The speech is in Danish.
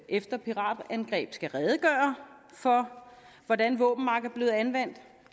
efter piratangreb skal redegøre for hvordan våbenmagt er blevet anvendt